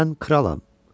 Mən kralam.